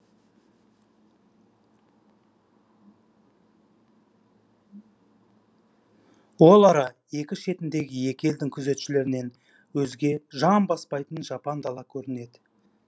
ол ара екі шетіндегі екі елдің күзетшілерінен өзге жан баспайтын жапан дала көрінеді